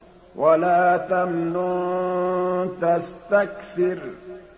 وَلَا تَمْنُن تَسْتَكْثِرُ